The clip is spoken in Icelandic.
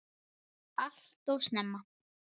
Allt of snemma.